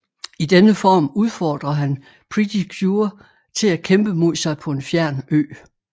I denne form udfordrer han Pretty cure til at kæmpe mod sig på en fjern ø